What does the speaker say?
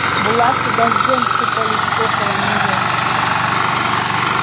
булавки дождём сыпались около нее